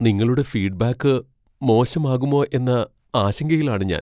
നിങ്ങളുടെ ഫീഡ്ബാക്ക് മോശമാകുമോ എന്ന ആശങ്കയിലാണ് ഞാൻ.